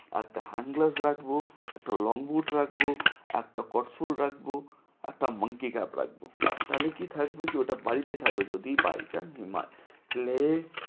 একটা hand gloves রাখবো, একটা long boot রাখবো। একটা রাখবো। একটা monkey cap তালে কি থাকবে ওটা সে বাড়িতে থাকবে, যদি by chance লে